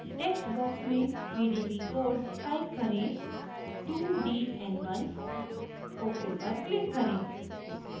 text box में pdb code type करें 2dn1 ok पर क्लिक करें